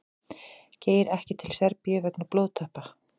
Geir ekki til Serbíu vegna blóðtappa